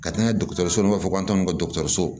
Ka taa n'a ye dɔgɔtɔrɔsow b'a fɔ k'an ta ninnu ka dɔgɔtɔrɔso